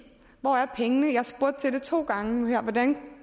hvor er pengene jeg har spurgt til det to gange nu her hvordan